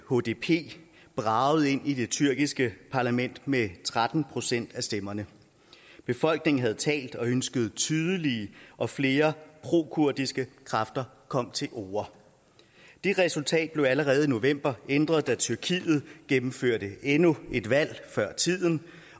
hdp bragede ind i det tyrkiske parlament med tretten procent af stemmerne befolkningen havde talt og ønsket at tydelige og flere prokurdiske kræfter kom til orde det resultat blev allerede i november ændret da tyrkiet gennemførte endnu et valg før tiden